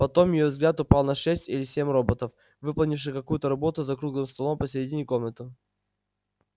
потом её взгляд упал на шесть или семь роботов выполнявших какую-то работу за круглым столом посередине комнаты